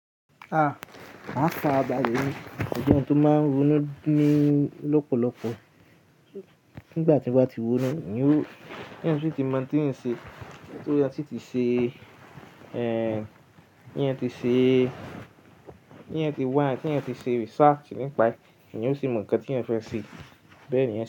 A! Máa farabàlẹ̀ mo jẹ tó máa ń ronú ní lọ́pọ̀lọpọ̀. Nígbà tí mo bá ti wónú, mo ní ó, kí ń ṣe tí mo ti mọ̀ tí ń ṣe, kí ó yá tí ti ṣe, ẹ, kí ń ṣe tí ń ṣe wá, kí ń ṣe research nípa ẹ, kí ń sì mọ ǹkan tí ń fẹ́ ṣe. Bẹ́ẹ̀ ni.